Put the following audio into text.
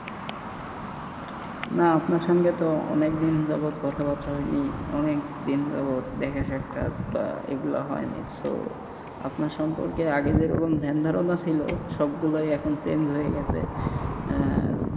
না আপনার সঙ্গে তো অনেক দিন যাবৎ কথাবার্তা হয়নি অনেক দিন যাবৎ দেখা সাক্ষাৎ এইগুলা হয়নি তো আপনার সম্পর্কে আগে যেরকম ধ্যান ধারণা ছিল সব গুলাই এখন চেঞ্জ হয়ে গেছে আহ